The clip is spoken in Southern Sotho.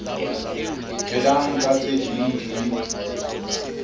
phelang ka tse ding di